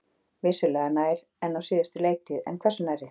Vissulega nær en á síðustu leiktíð, en hversu nærri?